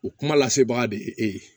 O kuma lasebaga de ye e ye